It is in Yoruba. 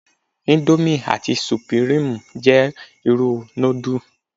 Íńdómì, àti Sùpírímù jẹ́ irú núdù.